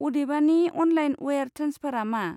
अदेबानि, अनलाइन वायार ट्रेन्सफारआ मा?